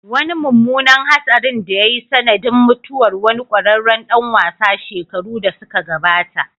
Wani mummunan hatsarin da ya yi sanadin mutuwar wani kwararren dan wasa shekaru da suka gabata